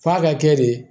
F'a ka kɛ de